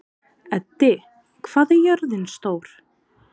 Eddi, hvað er jörðin stór?